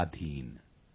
किछुते लोक नॉय शाधीन